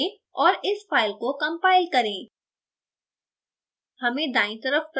arrow पर click करें और इस file को compile करें